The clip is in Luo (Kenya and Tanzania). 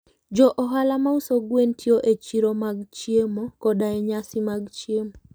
Jo ohala ma uso gwen tiyo e chiro mag chiemo koda e nyasi mag chiemo.